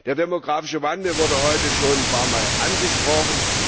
Der demografische Wandel wurde heute schon ein paarmal angesprochen.